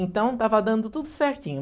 Então, estava dando tudo certinho.